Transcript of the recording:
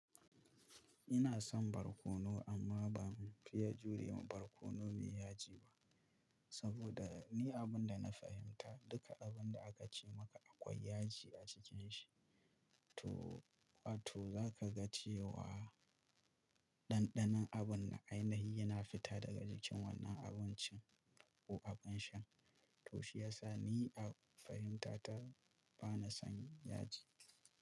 Ina son barkono amma ba mu fiye jure wa barkono mai yaji ba. Saboda ni abinda na fahimta duka abinda aka ce maka akwai yaji a cikin shi. To, ato za ka ga cewa ɗanɗanon abun na ainihi yana fita daga jikin wannan abincin ko abin sha. To shi yasa ni a fahimta ta bana son yaji.